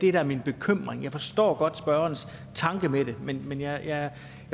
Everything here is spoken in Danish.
er min bekymring jeg forstår godt spørgerens tanke med det men men jeg